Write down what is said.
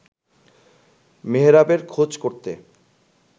মেহেরাবের খোঁজ করতে